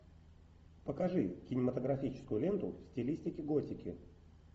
покажи кинематографическую ленту в стилистике готики